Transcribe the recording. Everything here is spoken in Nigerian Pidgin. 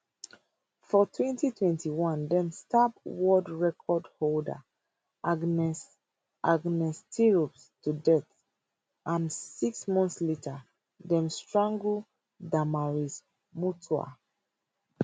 for 2021 dem stab world record holder agnes agnes tirop to death and six months later dem strangle damaris mutua